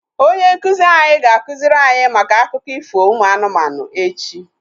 Onye nkụzi anyị ga-akụziri anyị maka akụkọ ifo ụmụ anụmanụ echi